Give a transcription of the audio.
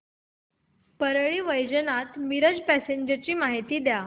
Parli Vaijnath Miraj passenger ची माहिती द्या